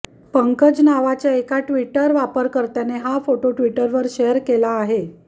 पंकज नावाच्या एका ट्विटर वापरकर्त्याने हा फोटो ट्विटरवर शेअर केला आहे